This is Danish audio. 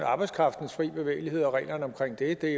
arbejdskraftens frie bevægelighed og reglerne omkring det det